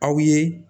Aw ye